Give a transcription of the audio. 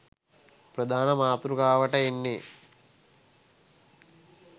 ප්‍රධාන මාතෘකාවට එන්නේ.